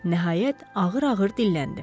Nəhayət, ağır-ağır dilləndi.